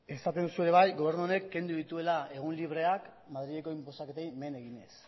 esaten duzu ere bai gobernu honek kendu dituela egun libreak madrilgo inposaketei men eginez